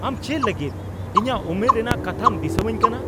ᱟᱢ ᱪᱮᱫ ᱞᱟᱹᱜᱤᱫ ᱤᱧᱟᱹᱜ ᱩᱢᱮᱨ ᱨᱮᱱᱟᱜ ᱠᱟᱛᱷᱟᱢ ᱫᱤᱥᱟᱹᱣᱟᱹᱧ ᱠᱟᱱᱟ ?